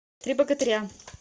три богатыря